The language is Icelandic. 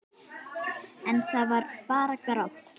En það er bara grátt.